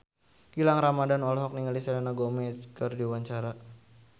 Gilang Ramadan olohok ningali Selena Gomez keur diwawancara